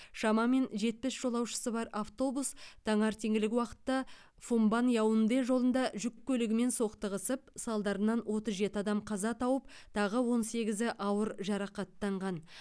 шамамен жетпіс жолаушысы бар автобус таңертеңгілік уақытта фумбан яунде жолында жүк көлігімен соқтығысып салдарынан отыз жеті адам қаза тауып тағы он сегізі ауыр жарақаттанған